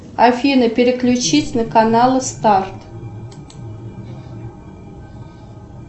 афина переключить на канал старт